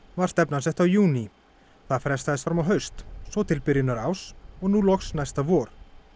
var stefnan sett á júní það frestaðist fram á haust svo til byrjunar árs og nú loks næsta vor